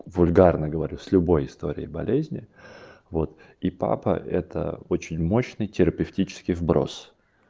вульгарный говорю с любой историей болезни вот и папа это очень мощный терапевтический сброс